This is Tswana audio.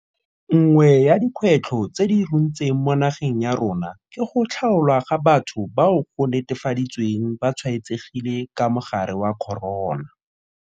Nngwe ya dikgwetlho tse di runtseng mo nageng ya rona ke go tlhaolwa ga batho bao go netefaditsweng ba tshwaetsegile ka mogare wa corona.